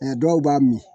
dɔw b'a min